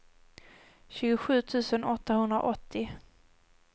tjugosju tusen åttahundraåttio